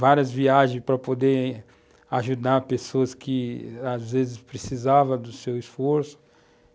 várias viagens para poder ajudar pessoas que às vezes precisavam do seu esforço.